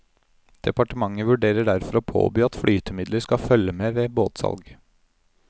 Departementet vurderer derfor å påby at flytemidler skal følge med ved båtsalg.